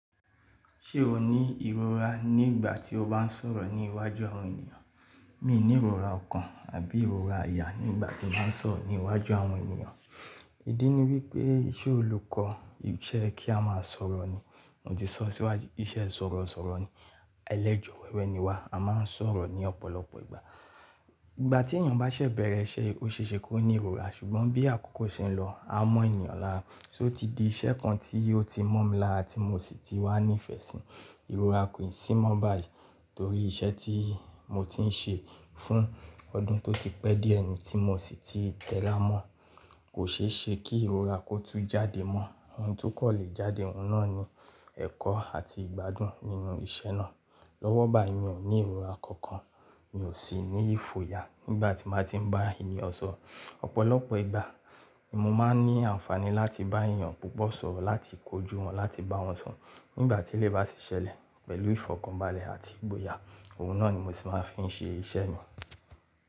Ṣé o ní ìrora ní ìgbà tí o bá ń sọ̀rọ̀ ní iwájú àwọn ènìyàn? Mi ò ní ìrora ọ̀kan àbí ìrora àyà ní ìgbà tí màá ń sọ̀rọ̀ ní iwájú àwọn ènìyàn. Ídí ni wípé iṣẹ́ olùkọ́ iṣẹ́ kí a máa sọ̀rọ̀ ni. Mo ti sọ sí wá iṣẹ́ sọ̀rọ̀ sọ̀rọ̀ ni ẹlẹ́jọ̀ wẹ́wẹ́ ni wá. A máa ń sọ̀rọ̀ ní ọ̀pọ̀lọpọ̀ ìgbà. Ìgbà tí ènìyàn bá ṣẹ̀ bẹ̀rẹ̀ iṣẹ́, ó ṣe é ṣe kó ní ìrora ṣùgbọ́n bí àkókò ṣe ń lọ, a mọ ènìyàn lára. Só ti di iṣẹ́ kan tí ó ti mọ̀ mi lára tí mo sì ti wà ní ìfẹ́ sí i. Ìrora kò ì sì mọ̀ báyìí torí iṣẹ́ tí mo ti ń ṣe fún ọdún tó ti pẹ́ díẹ̀ ẹni tí mo sì ti tẹ̀ lára mọ̀. Kò ṣe é ṣe kí ìrora kó tún jáde mọ́. Ohun tó kọ̀ lè jáde, ohun náà ni ẹ̀kọ́ àti ìgbádùn nínú iṣẹ́ náà. Lọ́wọ́ bá yìí mi ò ní ìrora kankan, mi ò sì ní ìfo ya nígbà tí ń nàá ti ń bá ènìyàn sọ̀rọ̀. Ọ̀pọ̀lọpọ̀ ìgbà, mo máa ń ní àǹfààní láti bá ènìyàn púpọ̀ sọ̀rọ̀, láti kojú wọn, láti bá wọn sọ̀rọ̀ nígbà tí lè bá ti ṣẹlẹ̀ pẹ̀lú ìfọ̀kànbalẹ̀ àti ìgboyà. Ohun náà ni mo ti máa ń fi ṣe iṣẹ́ mi.